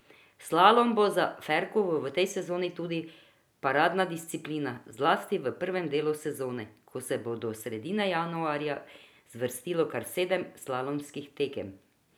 Slalom bo za Ferkovo v tej sezoni tudi paradna disciplina, zlasti v prvem delu sezone, ko se bo do sredine januarja zvrstilo kar sedem slalomskih tekem.